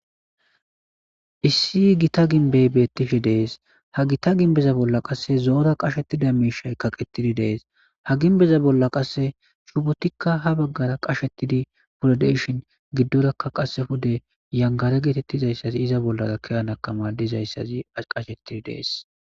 Issi hi gita ginbey beettishi dees ha gita ginbeza bolla qasse zoora qashettida miishay kaqettidi dees ha ginbeza bolla qasse chubotikka ha baggara qashettidi purodeshin giddorakka qasefude yangare geetettizayssazi iza bollara keyanakama dizayssazi qashettidi dees.